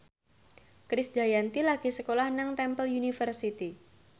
Krisdayanti lagi sekolah nang Temple University